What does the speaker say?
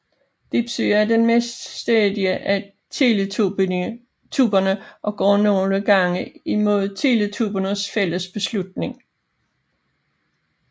Dipsy er den mest stædige af Teletubbierne og går nogle gange imod Teletubbiernes fælles beslutninger